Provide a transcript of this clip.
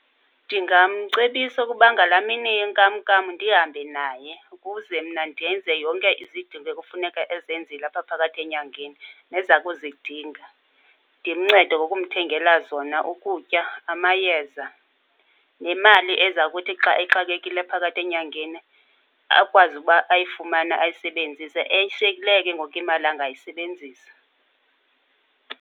Ndingamcebisa ukuba ngalaa mini yenkamnkam ndihambe naye ukuze mna ndenze yonke izidingo ekufuneka ezenzile apha phakathi enyangeni neza kuzidinga. Ndimncede ngokumthengela zona, ukutya, amayeza nemali eza kuthi xa exakekile phakathi enyangeni akwazi ukuba ayifumane ayisebenzise. Eshiyekileyo ke ngoku imali angayisebenzisa.